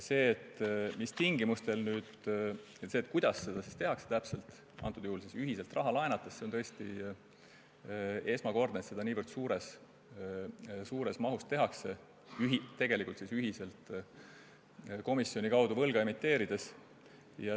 See, mis tingimustel ja kuidas seda täpselt tehakse, praegusel juhul ühiselt raha laenates, on tõesti esmakordne – see, et seda tehakse niivõrd suures mahus, ühiselt komisjoni kaudu võlga emiteerides.